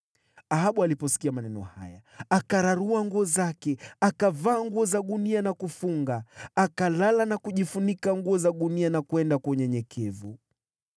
Ahabu aliposikia maneno haya, akararua nguo zake, akavaa nguo za gunia na kufunga. Akalala na kujifunika nguo za gunia na kwenda kwa unyenyekevu.